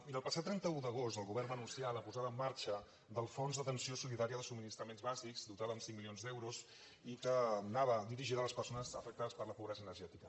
miri el passat trenta un d’agost el govern va anunciar la posada en marxa del fons d’atenció solidària de subministraments bàsics dotat amb cinc milions d’euros i que anava dirigida a les persones afectades per la pobresa energètica